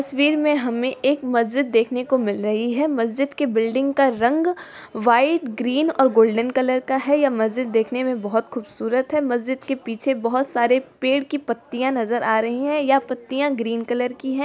तस्वीर में हमें एक मस्जिद देखने को मिल रही हैं मस्जिद के बिल्डिंग का रंग वाइट ग्रीन और गोल्डन कलर का है यह मस्जिद देखने में बहुत खुबसूरत है मस्जिद के पीछे बहुत सारे पेड़ की पत्तियां नजर आ रही है यह पत्तियां ग्रीन कलर की है।